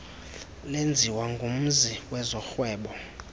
lenziwa ngumzi wezorhwebo